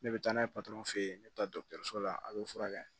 Ne bɛ taa n'a ye patɔrɔn fe yen ne bɛ taa dɔgɔtɔrɔso la a bɛ furakɛ